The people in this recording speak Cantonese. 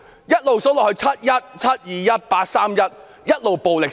再數下去，"七一"、"七二一"、"八三一"，暴力一直升級。